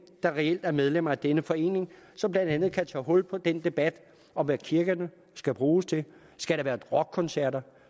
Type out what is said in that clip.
der reelt er medlem af denne forening som blandt andet kan tage hul på den debat om hvad kirkerne skal bruges til skal der være rockkoncerter